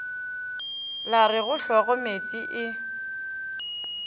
la go re hlogomeetse e